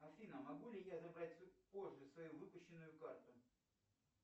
афина могу ли я забрать позже свою выпущенную карту